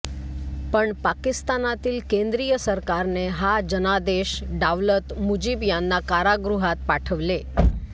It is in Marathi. पण पाकिस्तानातील केंद्रीय सरकारने हा जनादेश डावलत मुजीब यांना कारागृहात पाठवले